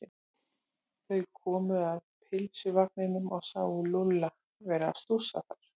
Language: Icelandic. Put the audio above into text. Þau komu að pylsuvagninum og sáu Lúlla vera að stússa þar.